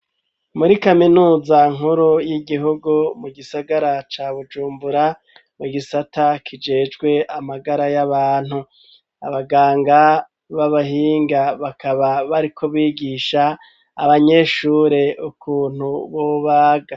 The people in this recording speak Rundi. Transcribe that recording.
Muri kaminuza nkuru y'igihugu mu gisagara ca Bujumbura mu gisata kijejwe amagara y'abantu abaganga b'abahinga bakaba bariko bigisha abanyeshure ukuntu bobaga.